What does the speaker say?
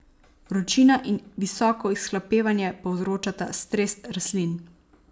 Vročina in visoko izhlapevanje povzročata stres rastlin.